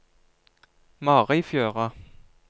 Marifjøra